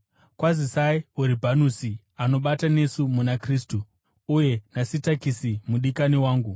Kwazisai Uribhanusi, anobata nesu muna Kristu, uye naSitakisi mudikani wangu.